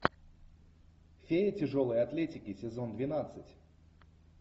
феи тяжелой атлетики сезон двенадцать